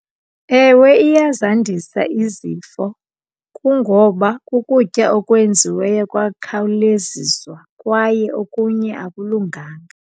Ewe, iyazandisa izifo kungoba kukutya okwenziweyo kwakhawuleziswa kwaye okunye akulunganga.